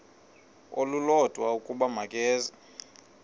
olulodwa ukuba makeze